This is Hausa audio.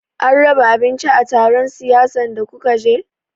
An raba abinci a taron siyasan da kuka je?